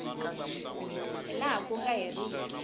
hi laha ku nga heriki